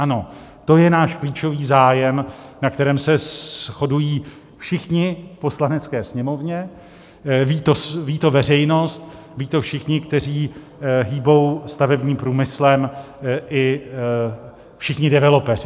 Ano, to je náš klíčový zájem, na kterém se shodují všichni v Poslanecké sněmovně, ví to veřejnost, vědí to všichni, kteří hýbou stavebním průmyslem, i všichni developeři.